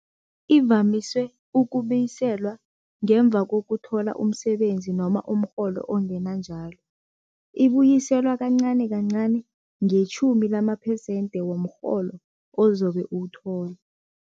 Ivamise ukubuyiselwa ngemva kokuthola umsebenzi noma umrholo ongena njalo. Ibuyiselwa kancani kancani ngetjhumi lamaphesente womrholo ozobe uwuthola.